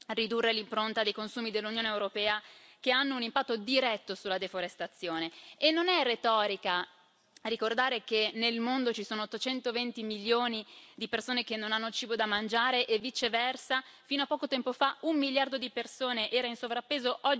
ridurre l'impronta dei consumi dell'Unione europea che hanno un impatto diretto sulla deforestazione, e non è retorica ricordare che nel mondo ci sono 820 milioni di persone che non hanno cibo da mangiare e, viceversa, fino a poco tempo fa un miliardo di persone era in sovrappeso.